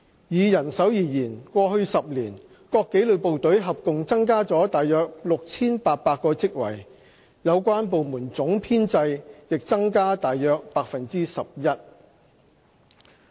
以人手而言，過去10年，各紀律部隊合共增加了約 6,800 個職位，有關部門總編制亦增加約 11%。